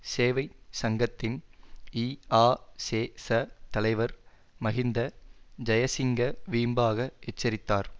சேவை சங்கத்தின் இஆசேச தலைவர் மஹிந்த ஜயசிங்க வீம்பாக எச்சரித்தார்